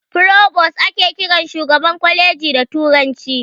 "Provost" ake kiran shugaban kwaleji da turanci.